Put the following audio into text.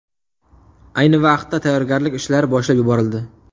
Ayni vaqtda tayyorgarlik ishlari boshlab yuborildi.